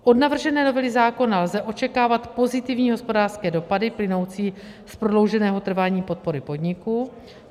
Od navržené novely zákona lze očekávat pozitivní hospodářské dopady plynoucí z prodlouženého trvání podpory podniku.